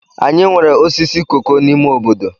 Anyị nwere osisi koko n'ime obodo.